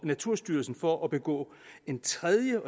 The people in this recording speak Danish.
naturstyrelsen for at begå en tredje